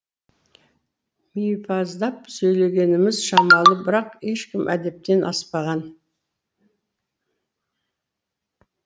мипаздап сөйлегеніміз шамалы бірақ ешкім әдептен аспаған